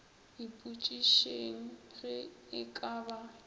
ipotšišeng ge e ka ba